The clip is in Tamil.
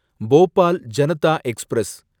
போபால் ஜனதா எக்ஸ்பிரஸ்